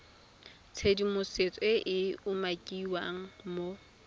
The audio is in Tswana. tshedimosetso e e umakiwang mo